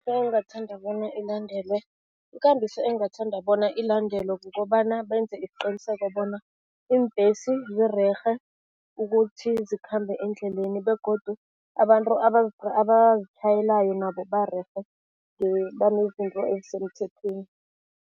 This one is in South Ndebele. engingathanda bona ilandelwe. Ikambiso engingathanda bona ilandelwe, kukobana benze isiqiniseko bona iimbhesi zirerhe ukuthi zikhambe eendleleni begodu abantu abazitjhayelayo nabo barerhe banezinto ezisemthethweni.